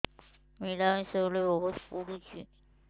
ମିଳାମିଶା ବେଳେ ବହୁତ ପୁଡୁଚି